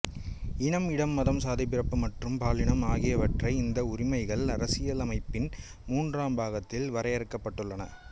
இனம் இடம் மதம் சாதி பிறப்பு மற்றும் பாலினம் ஆகியவற்றை இந்த உரிமைகள் அரசியலமைப்பின் மூன்றாம் பாகத்தில் வரையறுக்கப்பட்டுள்ளன